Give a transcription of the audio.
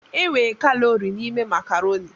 E nwe kalọri n'ime makarọni.